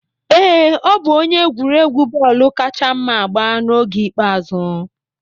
Ee, ọ bụ onye egwuregwu bọọlụ kacha mma agba n'oge ikpeazụ.